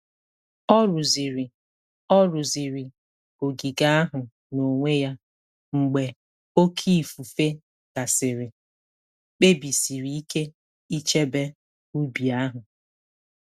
Ọ rụziri Ọ rụziri ogige ahụ n'onwe ya mgbe oké ifufe gasịrị, kpebisiri ike ichebe ubi ahụ.